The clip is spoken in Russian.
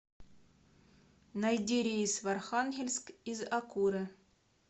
найди рейс в архангельск из акуре